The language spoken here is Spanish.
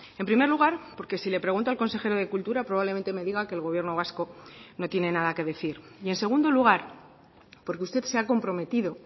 en primer lugar porque si le pregunto al consejero de cultura probablemente me diga que el gobierno vasco no tiene nada que decir y en segundo lugar porque usted se ha comprometido